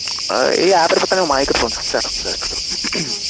ଏଇ app ରେ ତାଙ୍କର microphone sir sir ହୁଁ ing